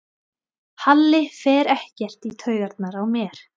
Halli fer ekkert í taugarnar á mér.